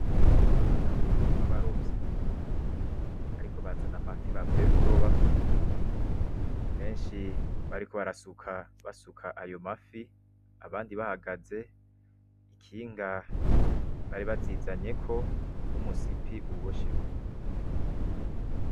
Abagabo babarovyi, bariko bazana amafi bavuye kuroba. Benshi bariko barasuka basuka ayo mafi, abandi bahagaze. Ikinga bari bazizanyeko numusipi ubosheko.